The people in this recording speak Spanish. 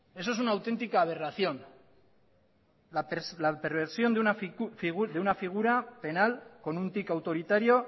eso es una auténtica aberración la perversión de una figura penal con un tic autoritario